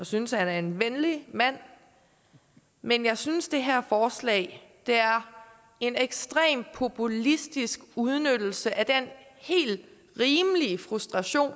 synes han er en venlig mand men jeg synes at det her forslag er en ekstrem populistisk udnyttelse af den helt rimelige frustration